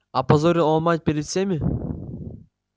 опозорил он мать перед всеми